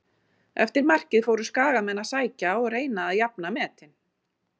Eftir markið fóru skagamenn að sækja og reyna að jafna metin.